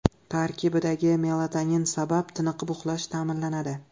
Tarkibidagi melatonin sabab tiniqib uxlash ta’minlanadi.